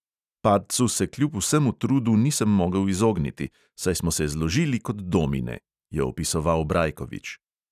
"Padcu se kljub vsemu trudu nisem mogel izogniti, saj smo se zložili kot domine," je opisoval brajkovič.